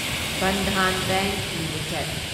Bandhan bank limited